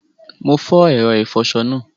Mo fo èro ìfoso náà